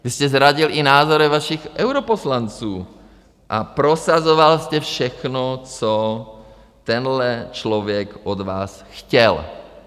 Vy jste zradil i názory vašich europoslanců a prosazoval jste všechno, co tenhle člověk od vás chtěl.